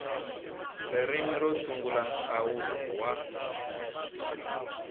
ririmi ro sungula nhlawulo wa